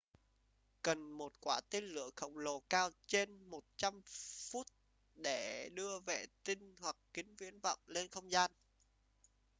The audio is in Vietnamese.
cần một quả tên lửa khổng lồ cao trên 100 foot để đưa vệ tinh hoặc kính viễn vọng lên không gian